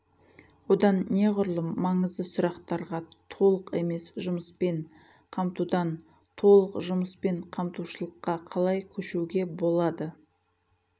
одан неғұрлым маңызды сұрақтарға толық емес жұмыспен қамтудан толық жұмыспен қамтушылыққа қалай көшуге болады